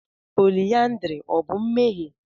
pọlyndrị ọ bụ mmehie?